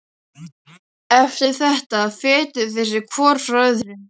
Eftir þetta fetuðu þeir sig hvor frá öðrum.